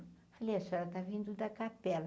Falei, a senhora está vindo da capela.